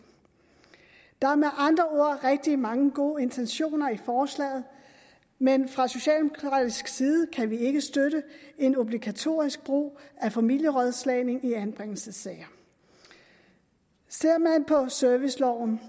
der er med andre ord rigtig mange gode intentioner i forslaget men fra socialdemokratisk side kan vi ikke støtte en obligatorisk brug af familierådslagning i anbringelsessager ser man på serviceloven